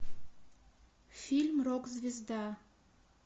фильм рок звезда